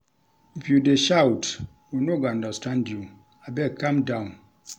If you dey shout, we no go understand you, abeg calm down.